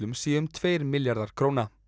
sé um tveir milljarðar króna